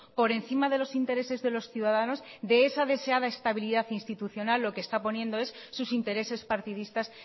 por encima de los intereses de los ciudadanos de esa deseada estabilidad institucional lo que está poniendo es sus intereses partidistas